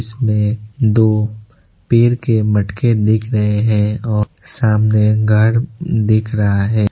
इसमें दो पेड़ के मटके दिख रहे हैं और सामने घर दिख रहा है।